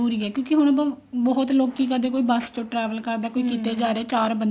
ਜਰੂਰੀ ਹੈ ਕਿਉਂਕਿ ਬਹੁਤ ਲੋਕੀ ਕਦੇ ਕੋਈ ਬੱਸ ਚ travel ਕਰਦਾ ਕੋਈ ਕਿਤੇ ਜਾ ਰਿਹਾ ਚਾਰ ਬੰਦੇ